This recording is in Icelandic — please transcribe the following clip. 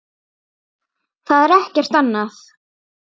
Það er ekkert annað.